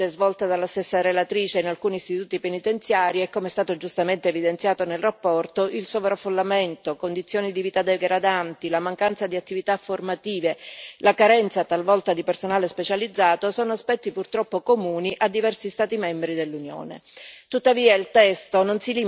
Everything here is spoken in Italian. Come emerso nel corso delle visite svolte dalla stessa relatrice in alcuni istituti penitenziari e come è stato giustamente evidenziato nella relazione, il sovraffollamento, condizioni di vita degradanti, la mancanza di attività formative, la carenza talvolta di personale specializzato sono aspetti purtroppo comuni a diversi Stati membri dell'Unione.